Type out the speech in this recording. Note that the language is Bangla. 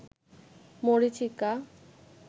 মরীচিকা